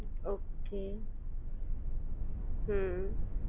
okay હમ્મ